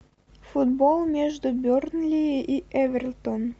футбол между бернли и эвертон